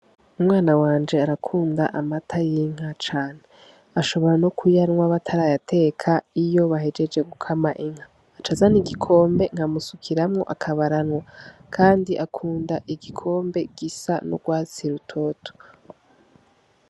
Umwana wanje arakunda amata y'inka cane. Ashobora nokuyanwa batarayateka iyo bahejeje gukama inka aca azana igikombe nkamusukiramwo akaba aranwa kandi akunda igikombe gisa n'urwatsi rutoto.